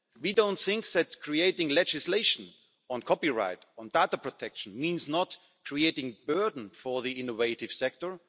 for us. We don't think that creating legislation on copyright or data protection means creating a burden for the innovative